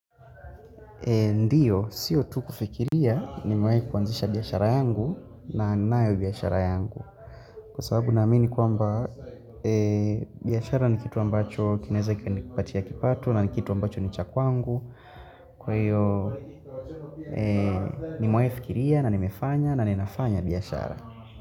Ndio, sio tu kufikiria nimewahi kuanzisha biashara yangu na ninayo biashara yangu Kwa sababu naamini kwamba biashara ni kitu ambacho kinaeza kikanipatia kipato na kitu ambacho ni cha kwangu Kwa hiyo, nimewahi fikiria na nimefanya na ninafanya biashara.